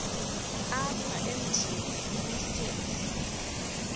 apha emithini umsintsi